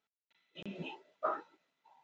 Bæði hjá mér og félaginu mínu.